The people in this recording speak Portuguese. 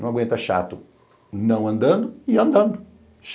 Não aguenta chato não andando e andando.